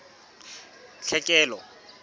tlhekelo